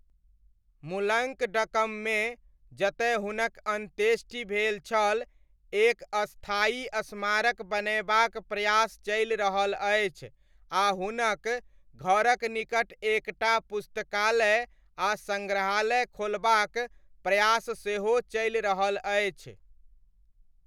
मुलङ्कडकममे जतय हुनक अन्त्येष्टि भेल छल एक स्थायी स्मारक बनयबाक प्रयास चलि रहल अछि आ हुनक घरक निकट एक टा पुस्तकालय आ सङ्ग्रहालय खोलबाक प्रयास सेहो चलि रहल अछि।